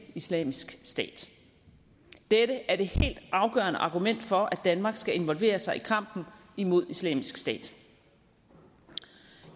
islamisk stat dette er det helt afgørende argument for at danmark skal involvere sig i kampen imod islamisk stat